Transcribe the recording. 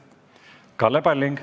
Kalle Palling.